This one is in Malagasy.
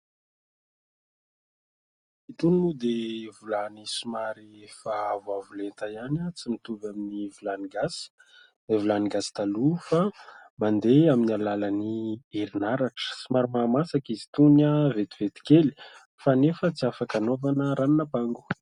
Itony moa dia vilany somary efa avoavo lenta ihany tsy mitovy amin' ny vilany gasy ; ireo vilany gasy taloha fa mandeha amin' ny alalan' ny herin' aratra ; somary maha masaka izy itony vetivety kely kanefa tsy afaka anaovana ranon' ampango.